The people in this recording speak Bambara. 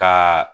Ka